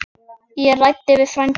Ég ræddi við frænda minn.